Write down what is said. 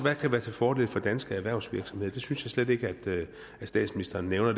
være til fordel for danske erhvervsvirksomheder det synes jeg slet ikke statsministeren nævner